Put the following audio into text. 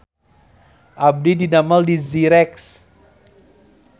Abdi didamel di Zyrex